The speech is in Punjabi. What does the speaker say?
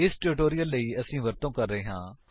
ਇਸ ਟਿਊਟੋਰਿਅਲ ਲਈ ਅਸੀ ਵਰਤੋ ਕਰ ਰਹੇ ਹਾਂ